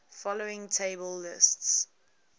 following table lists